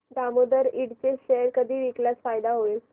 दामोदर इंड चे शेअर कधी विकल्यास फायदा होईल